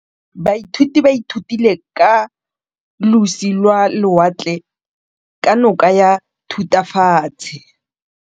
Baithuti ba ithutile ka losi lwa lewatle ka nako ya Thutafatshe.